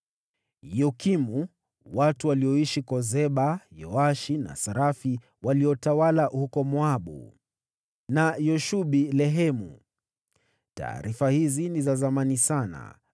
Yokimu, watu walioishi Kozeba, Yoashi na Sarafi waliotawala huko Moabu na Yashubi-Lehemu. (Taarifa hizi ni za zamani sana.)